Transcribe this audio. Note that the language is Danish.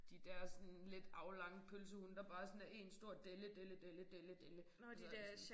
De der sådan lidt aflange pølsehunde der bare sådan er én stor delle delle delle delle delle og så er sådan